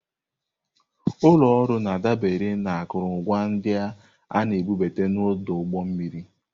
Ụlọ ọrụ na-adabere na akụrụngwa ndị a na-ebubata n'ọdụ ụgbọ mmiri.